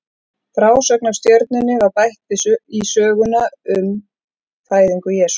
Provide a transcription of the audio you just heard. Frásögnin af stjörnunni var bætt við í söguna um fæðingu Jesú.